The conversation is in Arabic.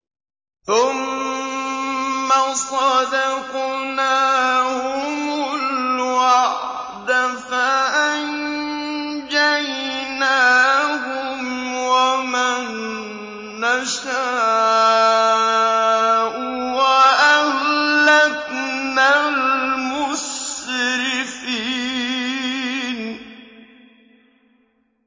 ثُمَّ صَدَقْنَاهُمُ الْوَعْدَ فَأَنجَيْنَاهُمْ وَمَن نَّشَاءُ وَأَهْلَكْنَا الْمُسْرِفِينَ